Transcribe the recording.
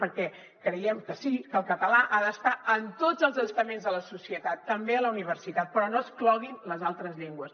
perquè creiem que sí que el català ha d’estar en tots els estaments de la societat també a la universitat però no excloguin les altres llengües